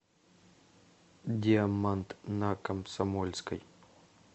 диамант на комсомольской